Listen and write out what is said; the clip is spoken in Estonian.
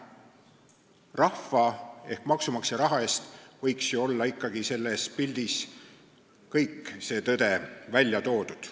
Rahva ehk maksumaksja raha eest võiks ju selles pildis olla kogu tõde välja toodud.